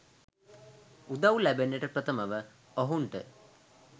උදවු ලැබෙන්නට ප්‍රථමව ඔහුන්ට